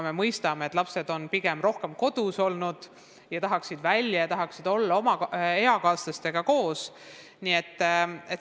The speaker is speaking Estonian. Me mõistame, et lapsed on kaua kodus olnud ja tahaksid välja, tahaksid oma eakaaslastega koos olla.